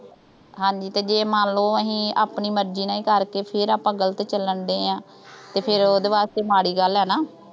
ਹਾਂਜੀ ਤੇ ਜੇ ਮੰਨਲੋ ਆਪਣੀ ਮਰਜ਼ੀ ਨਾਲ ਹੀ ਕਰਕੇ, ਫਿਰ ਆਪਾਂ ਗਲਤ ਚੱਲਣ ਡਏ ਆਂ। ਤੇ ਫਿਰ ਉਹਦੇ ਵਾਸਤੇ ਮਾੜੀ ਗੱਲ ਆ ਨਾ।